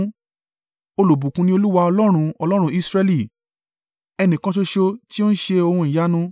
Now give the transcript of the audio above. Olùbùkún ni Olúwa Ọlọ́run, Ọlọ́run Israẹli, ẹnìkan ṣoṣo tí ó ń ṣe ohun ìyanu.